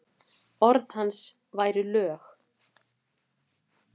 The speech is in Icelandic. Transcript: Orð hans væru lög.